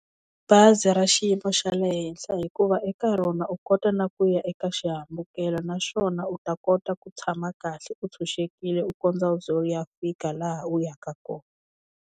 Bazi ra xiyimo xa le henhla hikuva eka rona u kota na ku ya eka xihambukelo naswona u ta kota ku tshama kahle u tshunxekile u kondza u ze u ya fika laha u yaka kona.